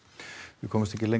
við komumst ekki lengra